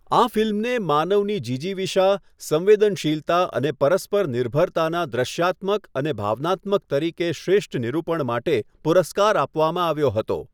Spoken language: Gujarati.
આ ફિલ્મને 'માનવની જિજીવિષા, સંવેદનશીલતા અને પરસ્પર નિર્ભરતાનાં દૃશ્યાત્મક અને ભાવનાત્મક રીતે શ્રેષ્ઠ નિરૂપણ' માટે પુરસ્કાર આપવામાં આવ્યો હતો.